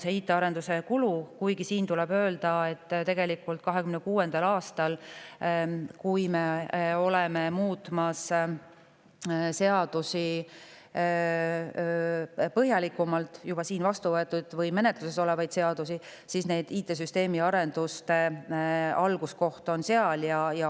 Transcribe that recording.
Kuigi tuleb öelda, et tegelikult on IT-süsteemi arenduste algus 2026. aastal, kui me juba siin vastu võetud või menetluses olevate seaduste põhjalikumalt muudatusi.